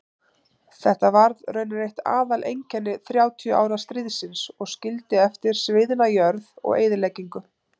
Þetta varð raunar eitt aðaleinkenni þrjátíu ára stríðsins og skildi eftir sviðna jörð og eyðileggingu.